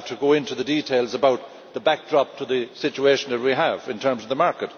need to go into the details about the backdrop to the situation that we have in terms of the market.